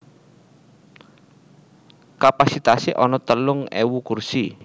Kapasitasé ana telung ewu kursi